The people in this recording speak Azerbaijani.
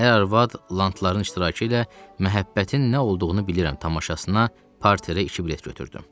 Ər-arvad lantların iştirakı ilə məhəbbətin nə olduğunu bilirəm tamaşasına parterə iki bilet götürdüm.